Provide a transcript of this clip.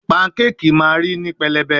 Pancake ma ri ni pelebe